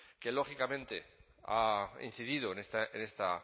que lógicamente ha incidido en esta